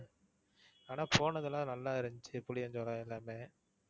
ஆனா போனது எல்லாம் நல்லா இருந்துச்சு. புளியாஞ்சோலை எல்லாமே.